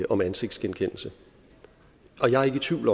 om ansigtsgenkendelse jeg er ikke i tvivl